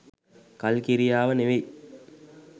කල්කිරියාව නෙවෙයි.